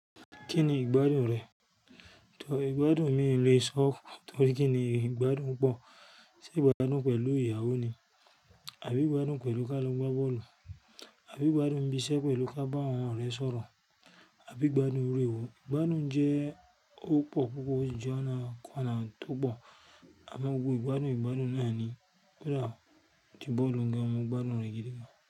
Kí ni ìgbádùn rẹ? Ìgbádùn mi lè sọ, torí kí ni ìgbádùn pọ̀? Ṣé ìgbádùn pẹ̀lú ìyàwó ni? Àbí ìgbádùn pẹ̀lú ká lọ gbá bọ́ọ̀lù? Àbí ìgbádùn bisẹ́ pẹ̀lú ká bá àwọn ọ̀rẹ́ sọ̀rọ̀? Àbí ìgbádùn iru ewo? Ìgbádùn jẹ́ ó pọ̀ púpọ̀, ó jẹ́ ọ̀nà kan nàá tó pọ̀. Àmọ́ gbogbo ìgbádùn ìgbádùn náà ni pé kodà tí bọ́ọ̀lù ń ga, mo gbádùn rẹ̀ gidigan.